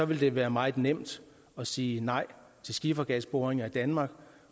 det være meget nemt at sige nej til skifergasboringer i danmark